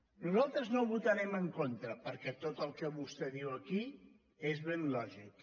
nosaltres no hi votarem en contra perquè tot el que vostè diu aquí és ben lògic